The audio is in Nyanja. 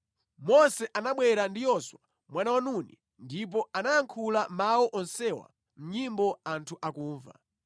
Mose anabwera ndi Yoswa mwana wa Nuni ndipo anayankhula mawu onsewa mʼnyimbo anthu akumva.